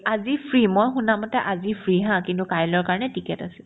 আজি free মই শুনামতে আজি free haa কিন্তু কাইলৈৰ কাৰণে ticket আছে